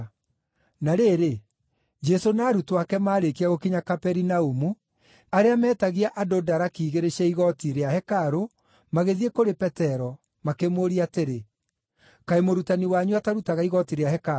Na rĩrĩ, Jesũ na arutwo ake maarĩkia gũkinya Kaperinaumu, arĩa meetagia andũ daraki igĩrĩ cia igooti rĩa hekarũ magĩthiĩ kũrĩ Petero, makĩmũũria atĩrĩ, “Kaĩ mũrutani wanyu atarutaga igooti rĩa hekarũ?”